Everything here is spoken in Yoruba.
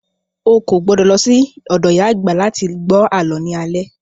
O kò gbọdọ̀ lọ sí ọ̀dọ̀ ìyá àgbà láti gbọ́ àlọ́ ní alẹ́